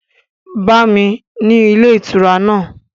Bá mi ni ilé ìtura náà!